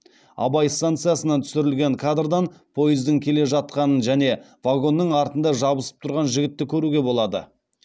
абай станциясынан түсірілген кадрдан пойыздың келе жатқанын және вагонның артында жабысып тұрған жігітті көруге болады